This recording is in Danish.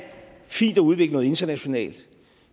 fint at udvikle noget internationalt